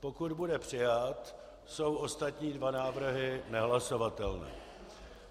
Pokud bude přijat, jsou ostatní dva návrhy nehlasovatelné.